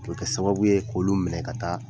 O bɛ kɛ sababu ye k'olu minɛ ka taa